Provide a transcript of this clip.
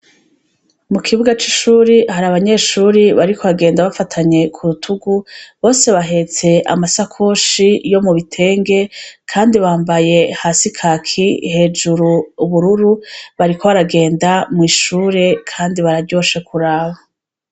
Mukibuga c’ishuri, har’abanyeshuri bariko bagenda bafatanye kurutugu, bose bahetse amasakoshi yo mubitenge, Kandi bambaye hasi kaki, hejuru, ubururu, bariko baragenda mwishure Kandi bararyoshe kuraba.